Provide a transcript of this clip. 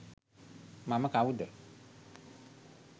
මම කවුද